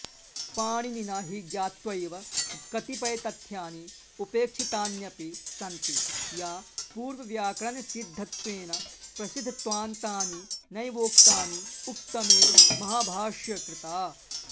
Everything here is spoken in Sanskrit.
पाणिनिना हि ज्ञात्वैव कतिपयतथ्यानि उपेक्षितान्यपि संन्ति या पूर्वव्याकरणसिद्धत्वेन प्रसिद्धत्वान्तानि नैवोक्तानि उक्तमेव महाभाष्यकृता